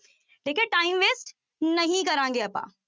ਠੀਕ ਹੈ time waste ਨਹੀਂ ਕਰਾਂਗੇ ਆਪਾਂ।